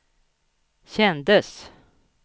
kändes